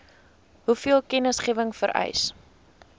hoeveel kennisgewing vereis